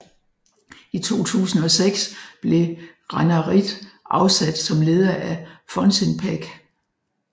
I 2006 blev Ranarridh afsat som leder af Funcinpec